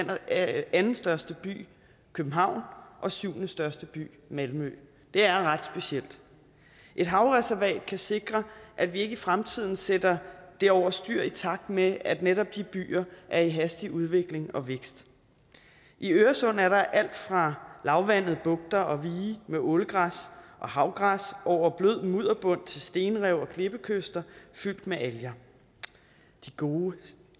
andenstørste by københavn og syvendestørste by malmø det er ret specielt et havreservat kan sikre at vi i fremtiden ikke sætter det over styr i takt med at netop de byer er i hastig udvikling og vækst i øresund er der alt fra lavvandede bugter og vige med ålegræs og havgræs over blød mudderbund til stenrev og klippekyster fyldt med alger de gode